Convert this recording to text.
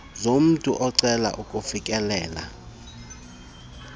zomntu ocela ukufikelela